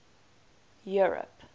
europe